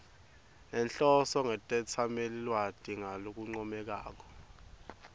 nenhloso netetsamelilwati ngalokuncomekako